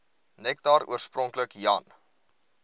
nektar oorspronklik jan